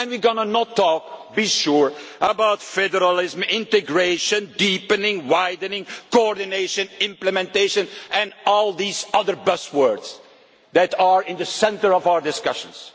forward. We are not going to talk you can be sure about federalism, integration, deepening, widening, coordination, implementation and all these other buzzwords that are at the centre of our discussions.